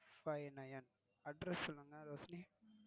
Five Nine Address சொல்லுங்க ரோஷினி.